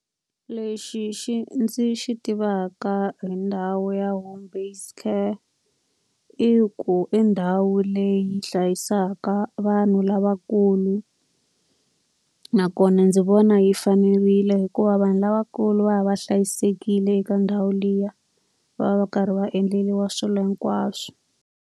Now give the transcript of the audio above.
Lexi xi ndzi xi tivaka hi ndhawu ya home based care, i ku i ndhawu leyi hlayisaka vanhu lavakulu. Nakona ndzi vona yi fanerile hikuva vanhu lavakulu va ya va hlayisekile eka ndhawu liya, va va va karhi va endleriwa swilo hinkwaswo.